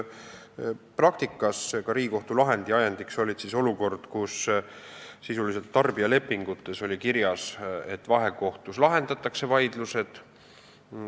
Praktikas oli Riigikohtu lahend ajendatud tõsiasjast, et tarbijalepingutes oli kirjas, et vaidlused lahendatakse vahekohtus.